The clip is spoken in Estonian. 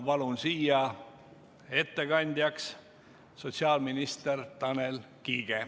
Palun siia ettekandjaks sotsiaalminister Tanel Kiige.